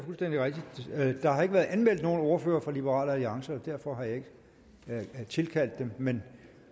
der har ikke været anmeldt nogen ordfører fra liberal alliance og derfor har jeg ikke tilkaldt dem men